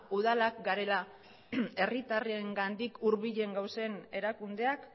udalak garela herritarrengandik hurbilen gauden erakundeak